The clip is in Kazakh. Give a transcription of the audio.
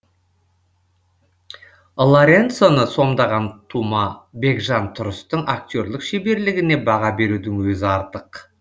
лоренцоны сомдаған тума бекжан тұрыстың актерлік шеберлігіне баға берудің өзі артық